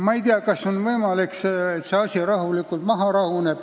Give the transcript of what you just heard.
Ma ei tea, kas on võimalik, et see asi rahuneb maha.